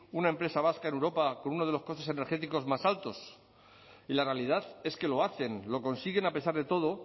una empresa vasca en europa con uno de los costes energéticos más altos y la realidad es que lo hacen lo consiguen a pesar de todo